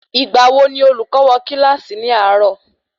Ìgbà wo ni olùkọ́ wo kílàsì ni àárò?